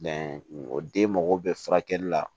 o den mago bɛ furakɛli la